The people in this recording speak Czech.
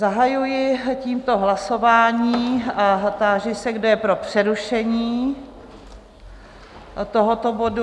Zahajuji tímto hlasování a táži se, kdo je pro přerušení tohoto bodu?